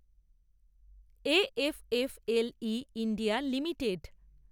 A F F L E India limited